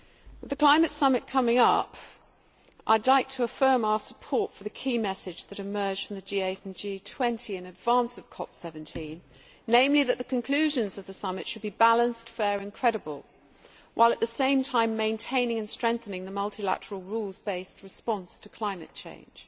With the Climate Summit coming up, I would like to affirm our support for the key message which emerged from the G8 and G20 in advance of the 17th Conference of the Parties namely that the conclusions of the Summit should be balanced, fair and credible, while at the same time maintaining and strengthening the multilateral rules based response to climate change.